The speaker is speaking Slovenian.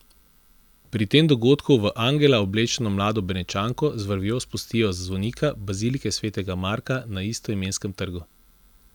Pri tem dogodku v angela oblečeno mlado Benečanko z vrvjo spustijo z zvonika bazilike svetega Marka na istoimenskem trgu.